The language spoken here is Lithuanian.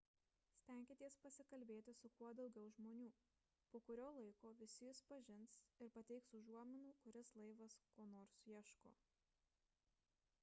stenkitės pasikalbėti su kuo daugiau žmonių po kurio laiko visi jus pažins ir pateiks užuominų kuris laivas ko nors ieško